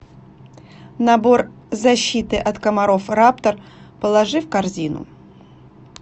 набор защиты от комаров раптор положи в корзину